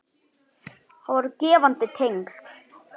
Það voru gefandi tengsl.